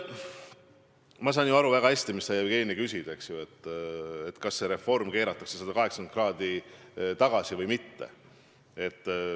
Ma saan väga hästi aru, mis sa, Jevgeni, küsid, et kas see reform keeratakse 180 kraadi tagasi või mitte.